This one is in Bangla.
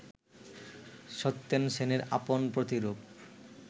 সত্যেন সেনের আপন প্রতিরূপ